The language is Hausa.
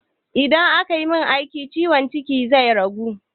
In aka min aikin ciwon cikin zai ragu?